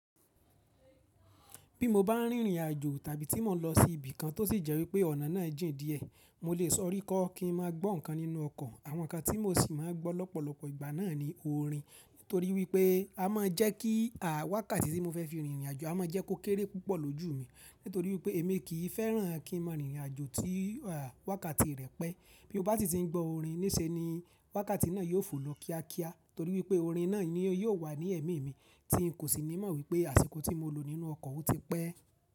Bí mo bá ń rìnrìn àjò tàbí tí mo n lọ sí ibìkan tó sì jẹ́ wípé ọ̀nà náà jìn díẹ̀, mo lè sọ̀rí kọ́ kí n máa gbọ́ nǹkan nínú ọkọ̀. Àwọn nǹkan tí mo sì máa gbọ́ lọ́pọ̀lọpọ̀ ìgbà náà ni orin. Nítorí wípé a máa jẹ́ kí à wákàtì tí mo fẹ́ fi rìnrìn àjò, a máa jẹ́ kó kéré púpọ̀ lójú mi. Nítorí wípé èmi kì í fẹ́ràn kí n máa rìnrìn àjò tí àwákàtì rẹ̀ pẹ́. Bí mo bá si ti ń gbọ́ orin níṣe ni, wákàtí náà yóò fò lọ kíákíá. Torí wípé orin náà ni yóò wà ní ẹ̀mí mi, tí n kò sì ní mọ̀ wípé àsìkò tí mo lò nínú ọkọ̀ ó ti pẹ́.